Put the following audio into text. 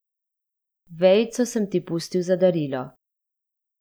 Vejico sem ti pustil za darilo.